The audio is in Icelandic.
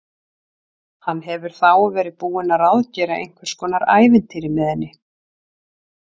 Hann hefur þá verið búinn að ráðgera einhvers konar ævintýri með henni!